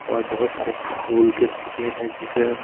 और बहुत सारे फूल के पेड़ है जिसे--